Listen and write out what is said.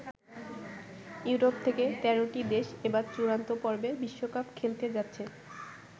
Europe থেকে ১৩ টি দেশ এবার চূড়ান্ত পর্বে বিশ্বকাপ খেলতে যাচ্ছে।